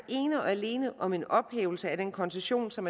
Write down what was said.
ene og alene om en ophævelse af den koncession som